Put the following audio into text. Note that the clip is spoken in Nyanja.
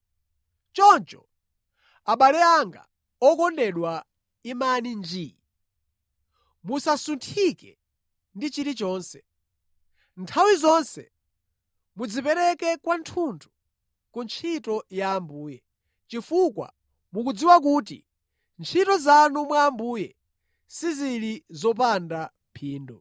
Choncho, abale anga okondedwa imani njii. Musasunthike ndi chilichonse. Nthawi zonse mudzipereke kwathunthu ku ntchito ya Ambuye, chifukwa mukudziwa kuti ntchito zanu mwa Ambuye sizili zopanda phindu.